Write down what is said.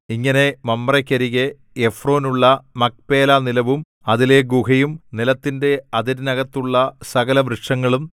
ഇങ്ങനെ മമ്രേക്കരികെ എഫ്രോനുള്ള മക്പേലാനിലവും അതിലെ ഗുഹയും നിലത്തിന്റെ അതിരിനകത്തുള്ള സകലവൃക്ഷങ്ങളും